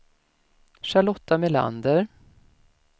Charlotta Melander